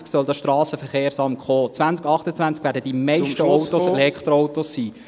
2028 soll das SVSA kommen, 2028 werden die meisten Autos Elektroautos sein …